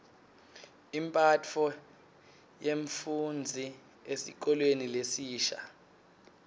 imphatfo yemfufndzi esikolweni lesisha